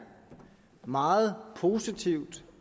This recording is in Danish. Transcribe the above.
meget positivt